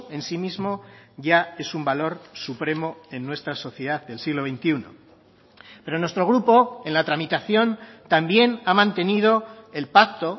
en sí mismo ya es un valor supremo en nuestra sociedad del siglo veintiuno pero nuestro grupo en la tramitación también ha mantenido el pacto